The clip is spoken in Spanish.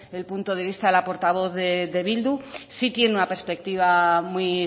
el punto de vista de la portavoz de bildu sí tiene una perspectiva muy